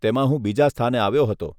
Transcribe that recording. તેમાં હું બીજા સ્થાને આવ્યો હતો.